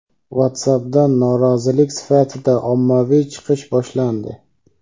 WhatsApp’dan norozilik sifatida ommaviy chiqish boshlandi.